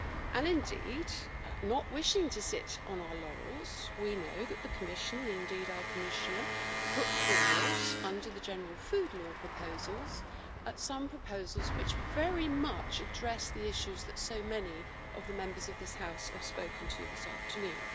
And indeed not wishing to sit on our laurels we know that the Commission, and our Commissioner, put forward under the general food law proposals, some proposals which very much address the issues that so many of the Members of this House have spoken of this afternoon.